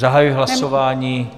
Zahajuji hlasování.